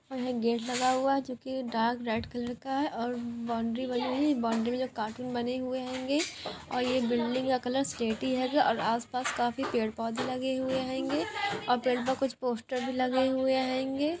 यहाँ एक गेट हुआ है जो की डार्क रेड कलर का है और बाउंड्री हुई है। बाउंड्री में जो कार्टून बने हुए होंगे ओर यह बिल्डिंग का कलर सिलेटी होगा और आस-पास काफी पेड़-पोधे लगे हुए होंगे ओर पेड़ पर कुछ पोस्टर भी लगे हुए होंगे।